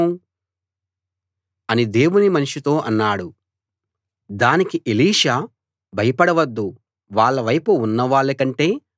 దానికి ఎలీషా భయపడవద్దు వాళ్ళ వైపు ఉన్నవాళ్ళ కంటే మన వైపు ఉన్నవాళ్లు ఎక్కువ మంది అని జవాబిచ్చాడు